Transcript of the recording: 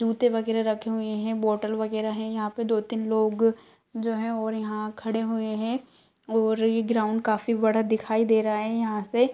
जूते वगैरा रखे हुए है बोटल वगैरा है यहाँ पे दो तीन लोग जो है और यहाँ खड़े हुए है और ये ग्राउंड काफी बड़ा दिखाई दे रहा है यहाँ से--